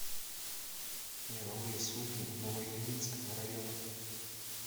мировые судьи новоильинского района